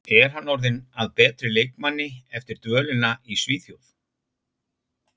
Er hann orðinn að betri leikmanni eftir dvölina í Svíþjóð?